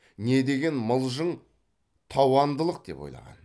не деген мылжың тауандылық деп ойлаған